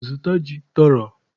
Zụta ji tọrọ!